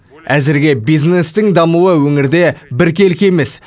әзірге бизнестің дамуы өңірде біркелкі емес